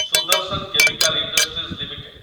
Sudarshan chemical industries limited